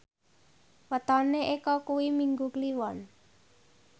wetone Eko kuwi Minggu Kliwon